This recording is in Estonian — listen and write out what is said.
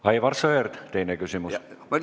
Aivar Sõerd, teine küsimus.